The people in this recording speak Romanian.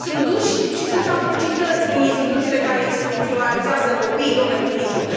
Sunt duși și sunt atrocități în instituțiile care instituționalizează copii, domnul prim ministru.